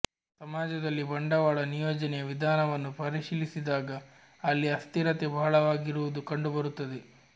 ಸಮಾಜದಲ್ಲಿ ಬಂಡವಾಳ ನಿಯೋಜನೆಯ ವಿಧಾನವನ್ನು ಪರಿಶೀಲಿಸಿದಾಗ ಅಲ್ಲಿ ಅಸ್ಥಿರತೆ ಬಹಳವಾಗಿರುವುದು ಕಂಡುಬರುತ್ತದೆ